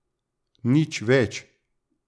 Nič več.